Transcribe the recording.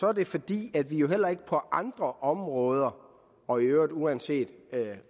er det fordi vi jo heller ikke på andre områder og i øvrigt uanset